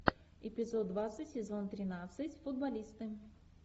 эпизод двадцать сезон тринадцать футболисты